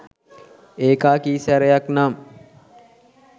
ඒකා කි සැරයක් නම්